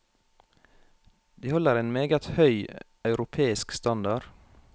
De holder en meget høy, europeisk standard.